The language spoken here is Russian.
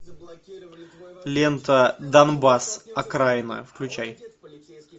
лента донбасс окраина включай